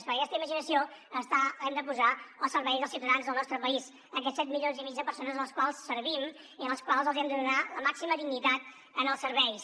perquè aquesta imaginació l’hem de posar al servei dels ciutadans del nostre país aquests set milions i mig de persones a les quals servim i a les quals els hi hem de donar la màxima dignitat en els serveis